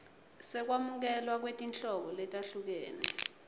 sekwamukelwa kwetinhlobo letahlukene